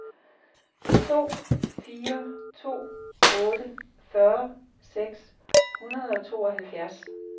to fire to otte fyrre seks hundrede og tooghalvfjerds